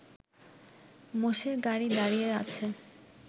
মোষের গাড়ি দাঁড়িয়ে আছে